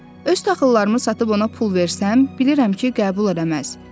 Öz taxılımı satıb ona pul versəm, bilirəm ki, qəbul eləməz.